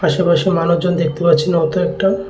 আশেপাশে মানুষজন দেখতে পাচ্ছি না অত একটা।